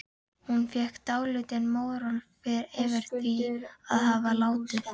Hún fékk dálítinn móral yfir því að hafa látið